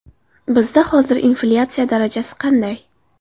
Bizda hozir inflyatsiya darajasi qanday?